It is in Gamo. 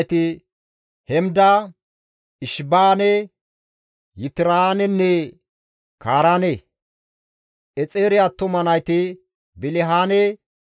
Exeere attuma nayti Bilihaane, Za7iwaanenne Yaqine. Dishaane attuma nayti Uuxenne Araane.